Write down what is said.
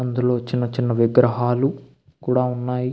అందులో చిన్న చిన్న విగ్రహాలు కూడా ఉన్నాయి.